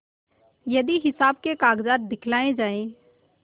यदि हिसाब के कागजात दिखलाये जाएँ